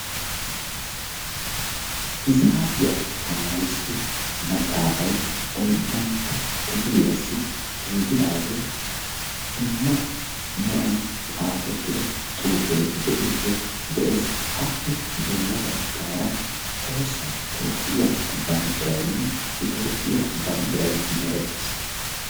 Hisaabiya tamarissiyo maaxaafay oyddantta kifiliyassi giigidaagee dumma meran xaafettida xuufee de'iyogee de'ees, Appe bolla baggaara Tohossa Toophphiya banddiraynne Etoophphiya banddiray merettiis.